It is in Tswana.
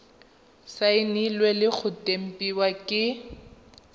saenilwe le go tempiwa ke